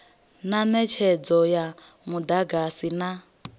na netshedzo ya mudagasi na